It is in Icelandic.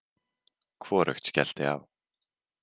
Hvorugt skellti á.